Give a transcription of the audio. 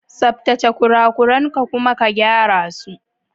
Tsaftace kurakuran ka kuma ka gyara su.